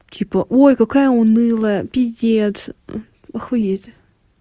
типа ой какая унылая пиздец охуеть